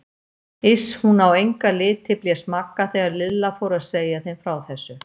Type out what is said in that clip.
Iss, hún á enga liti blés Magga þegar Lilla fór að segja þeim frá þessu.